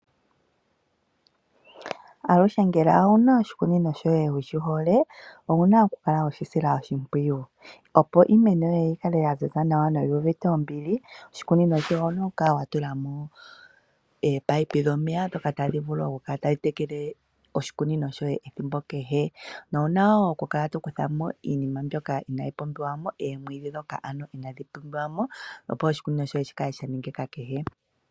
Aluhe ngele owu na oshikunino shoye wu shi hole, owu na oku lkala we shi sila oshimpwiyu. Opo iimeno yoye yi kale ya ziza nawa noyi uvite ombili, oshikunino shoye owu na okukala wa tula mo ominino dhomeya ndhoka tadhi vulu okukala tadhi tekele oshikunino shoye ethimbo kehe, na owu na wo okukala to kuthamo iinima mbyoka inayi pumbiwa mo, oomwiidhi ndhoka ano inadhi pumbiwa mo opo oshikunino shoye shi kale sha nengena.